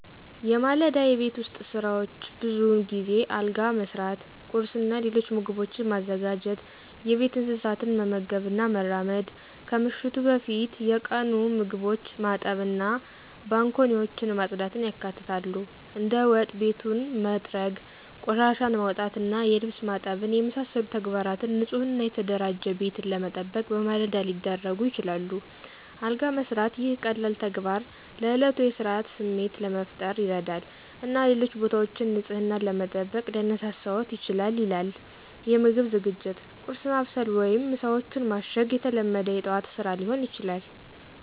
የማለዳ የቤት ውስጥ ሥራዎች ብዙውን ጊዜ አልጋ መሥራት፣ ቁርስ እና ሌሎች ምግቦችን ማዘጋጀት፣ የቤት እንስሳትን መመገብ እና መራመድ፣ ከምሽቱ በፊት የቀሩ ምግቦችን ማጠብ እና ባንኮኒዎችን ማጽዳትን ያካትታሉ። እንደ ወጥ ቤቱን መጥረግ፣ ቆሻሻን ማውጣት እና የልብስ ማጠብን የመሳሰሉ ተግባራት ንፁህ እና የተደራጀ ቤትን ለመጠበቅ በማለዳ ሊደረጉ ይችላሉ። አልጋ መስራት - ይህ ቀላል ተግባር ለእለቱ የሥርዓት ስሜት ለመፍጠር ይረዳል እና ሌሎች ቦታዎችን ንፅህናን ለመጠበቅ ሊያነሳሳዎት ይችላል ይላል። የምግብ ዝግጅት - ቁርስ ማብሰል ወይም ምሳዎችን ማሸግ የተለመደ የጠዋት ስራ ሊሆን ይችላል።